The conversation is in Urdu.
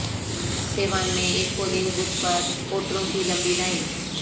سیوان میں ایک پولنگ بوتھ پر ووٹروں کی لمبی لائن